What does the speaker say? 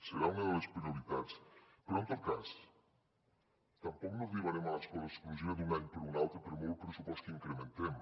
serà una de les prioritats però en tot cas tampoc no arribarem a l’escola inclusiva d’un any per l’altre per molt pressupost que incrementem